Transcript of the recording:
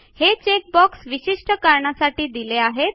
हे check box विशिष्ट कारणांसाठी दिले आहेत